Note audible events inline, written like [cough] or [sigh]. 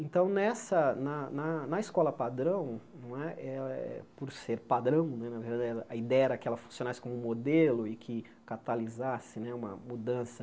Então, nessa na na na escola padrão não é, por ser padrão, [unintelligible] a ideia era que ela funcionasse como um modelo e que catalisasse né uma mudança